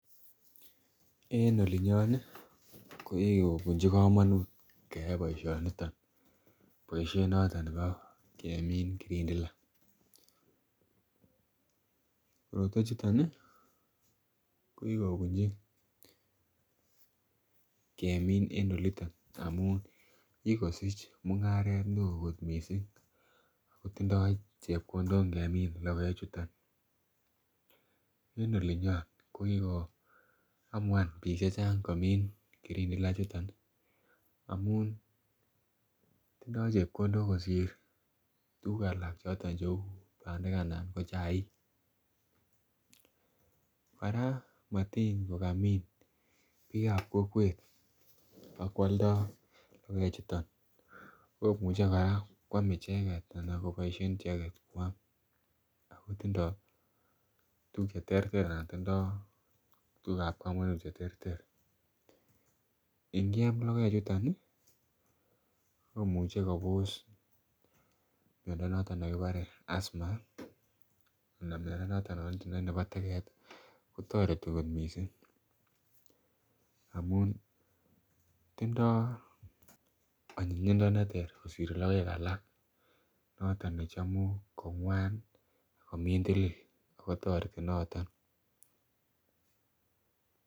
En olinyon Nii ko kikobunchi komonut keyai boishoniton, boishet noton nebo kemin kirindila. Korotwek chuton nii ko kikobunchi kemin en oliton amun kikosich mungaret neo kot missing ako tindo chepkondok ngemin lokoek chuton en olinyon ko kikoamua bik chechang komin kirindila ichuton amun tindo chepkondok kosir tukuk alak cheu pandek anan ko chaik. Koraa motin ko kamin bikab kokwet akwoldo lokoek chuton komuche Koraa kwame icheket anan koboishen icheket kwam ako tindo tukuk cheterter anan tindo tukuk chebo komonut cheterter inkiam lokoek chuton nii komuche Kobos miondo noton nekibore Asma anan miondo noton yonitindoi nebo teket kotoreti kot missing amun tindo onyinyindo neter kosir lokoek alak noton nechomu kongwa komindilil ako toreti noton.